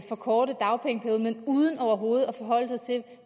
forkorte dagpengeperioden men uden overhovedet at forholde sig til